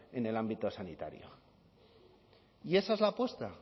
en el ámbito sanitario y esa es la apuesta